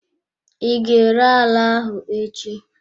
I ga-ere ala ahụ echi?